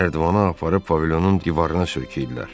Nərdivanı aparıb pavilyonun divarına söykədilər.